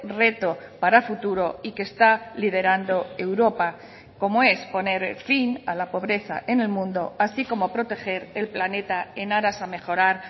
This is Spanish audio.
reto para futuro y que está liderando europa como es poner fin a la pobreza en el mundo así como proteger el planeta en aras a mejorar